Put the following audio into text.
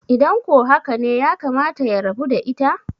idan ko haka ne yakamata ya rabu da ita?